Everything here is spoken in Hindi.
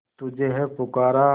तुझे है पुकारा